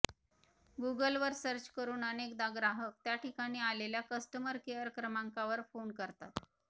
गुगलवर सर्च करून अनेकदा ग्राहक त्याठिकाणी आलेल्या कस्टमर केअर क्रमांकावर फोन करतात